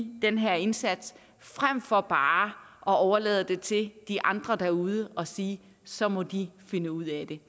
den her indsats frem for bare at overlade det til de andre derude og sige så må de finde ud af det